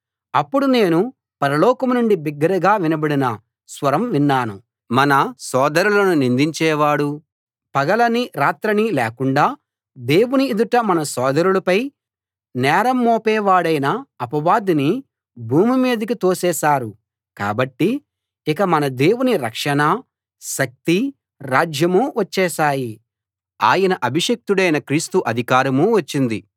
అప్పుడు నేను పరలోకం నుండి బిగ్గరగా వినబడిన స్వరం విన్నాను మన సోదరులను నిందించే వాడూ పగలనీ రాత్రనీ లేకుండా దేవుని ఎదుట మన సోదరులపై నేరం మోపే వాడైన అపవాదిని భూమి మీదికి తోసేశారు కాబట్టి ఇక మన దేవుని రక్షణా శక్తీ రాజ్యమూ వచ్చేశాయి ఆయన అభిషిక్తుడైన క్రీస్తు అధికారమూ వచ్చింది